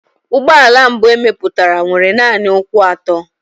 Ụgbọ ala mbụ e mepụtara nwere nanị ụkwụ atọ.